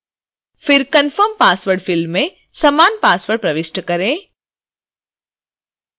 फिर confirm password field में समान पासवर्ड प्रविष्ट करें